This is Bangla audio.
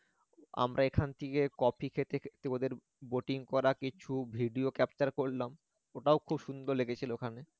আমরা এখান থেকে coffee খেতে খেতে ওদের boating করার কিছু video capture করলাম ওটাও খুব সুন্দর লেগেছিল ওখানে